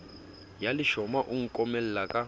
ya leshoma o nkomela ka